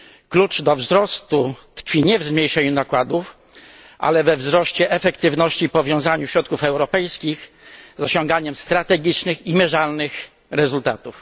Klucz do wzrostu tkwi nie w zmniejszeniu nakładów, ale we wzroście efektywności i powiązaniu środków europejskich z osiąganiem strategicznych i wymiernych rezultatów.